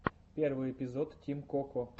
первый эпизод тим коко